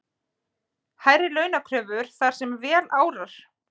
Hærri launakröfur þar sem vel árar